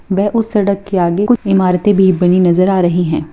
वह उस सड़क के आगे कुछ इमारतें भी बनी नजर आ रही है।